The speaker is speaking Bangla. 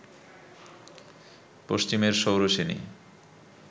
পশ্চিমের শৌরসেনী